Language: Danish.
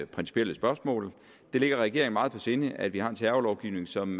principielle spørgsmål det ligger regeringen meget på sinde at vi har en terrorlovgivning som